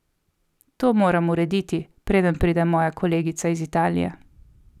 To moram urediti, preden pride moja kolegica iz Italije.